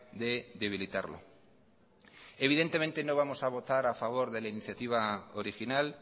de debilitarlo evidentemente no vamos a votar a favor de la iniciativa original